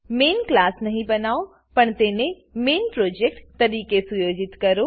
main class નહી બનાવો પણ તેને મેઇન પ્રોજેક્ટ તરીકે સુયોજિત કરો